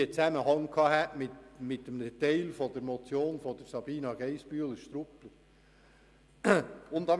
Diese hätte teilweise im Zusammenhang mit der Motion von Grossrätin Geissbühler-Strupler gestanden.